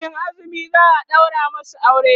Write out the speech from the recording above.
kamin azumi za'a ɗaura masu aure